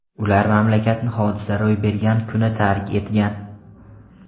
Ular mamlakatni hodisa ro‘y bergan kuni tark etgan.